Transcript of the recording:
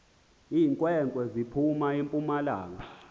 iinkwenkwezi ziphum empumalanga